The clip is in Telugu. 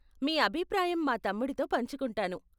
మీ అభిప్రాయం మా తమ్ముడితో పంచుకుంటాను.